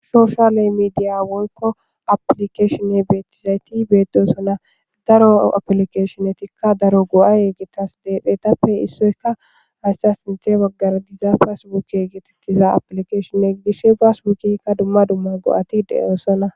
shoshaley meidiya woyko aplikeshonne beettizayti beedosona daro aplikeshonnetikka daro go7a yeegetas deexeetappe issoyka hayssa sinthe baggara diza pas wuki geetettiza aplikeshonne dishshe baas wukikka dumma dumma go7ati deyoosona